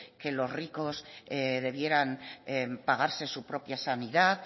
que los ricos debieran pagarse su propia sanidad